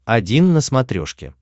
один на смотрешке